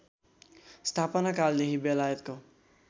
स्थापना कालदेखि बेलायतको